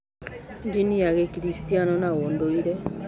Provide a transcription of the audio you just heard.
Ndini ya Gĩkristiano na ũndũire.